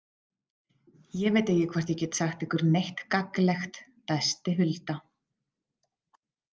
Ég veit ekki hvort ég geti sagt ykkur neitt gagnlegt, dæsti Hulda.